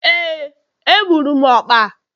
Éè, egburu m ọkpa